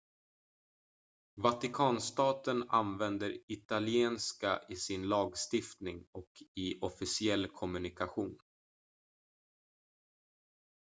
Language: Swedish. vatikanstaten använder italienska i sin lagstiftning och i officiell kommunikation